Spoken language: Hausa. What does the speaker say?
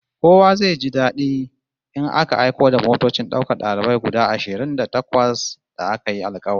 Kowa zai ji dadi in aka aiko da motocin daukar dalibai guda ashirin da takwas da aka yi alkawari